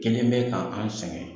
Kɛlen bɛ ka an sɛgɛn.